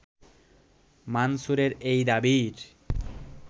মানসুরের এই দাবির